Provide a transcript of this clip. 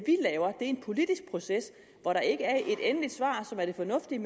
en politisk proces hvor der ikke er et endeligt svar som er det fornuftige